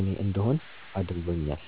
እኔ እንድሆን አድርጎኛል።